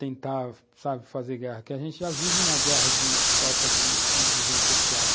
tentar, sabe, fazer guerra, porque a gente já vive na guerra de falta de inclusão social.